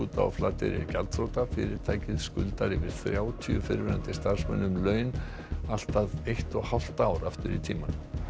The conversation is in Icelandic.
á Flateyri er gjaldþrota fyrirtækið skuldar yfir þrjátíu fyrrum starfsmönnum laun allt að eitt og hálft ár aftur í tímann